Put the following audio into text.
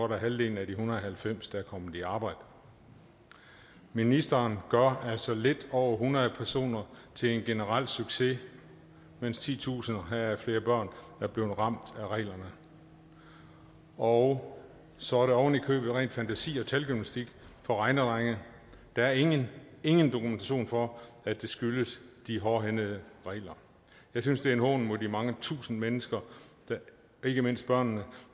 godt halvdelen af de en hundrede og halvfems personer der er kommet i arbejde ministeren gør altså lidt over hundrede personer til en generel succes mens titusinder heraf flere børn er blevet ramt af reglerne og så er det ovenikøbet ren fantasi og talgymnastik for regnedrenge der er ingen ingen dokumentation for at det skyldes de hårdhændede regler jeg synes det er en hån mod de mange tusinde mennesker ikke mindst børnene